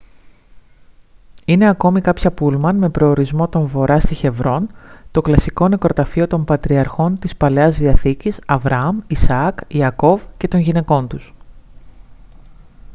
είναι ακόμη κάποια πούλμαν με προορισμό τον βορά στη χεβρόν το κλασικό νεκροταφείο των πατριαρχών της παλαιάς διαθήκης αβραάμ ισαάκ ιακώβ και των γυναικών τους